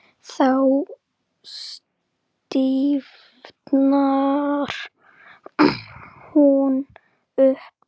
Þá stífnar hún upp.